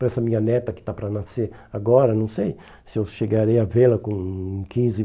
Para essa minha neta que está para nascer agora, não sei se eu chegarei a vê-la com quinze